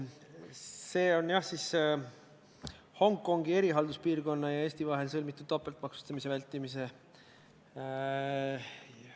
Reformierakonna fraktsioon teeb ettepaneku Vabariigi Valitsuse algatatud meresõiduohutuse seaduse muutmise seaduse eelnõu 47 teine lugemine katkestada.